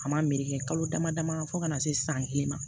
A ma meleke kalo dama dama fo ka na se san kelen ma